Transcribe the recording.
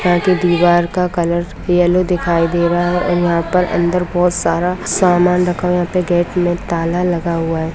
दीवार का colour yellow दिखाई दे रहा है यहाँ पर अंदर बहुत सारा समान रखा हुआ हैं यहाँ पर गेट में ताला लगा हुआ है।